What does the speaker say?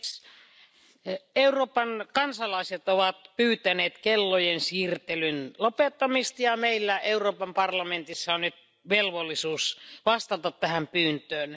Arvoisa puhemies, Euroopan kansalaiset ovat pyytäneet kellojen siirtelyn lopettamista ja meillä Euroopan parlamentissa on nyt velvollisuus vastata tähän pyyntöön.